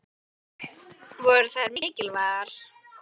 Voru þær mikilvægar?